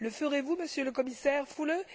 Le ferez vous, Monsieur le Commissaire Füle?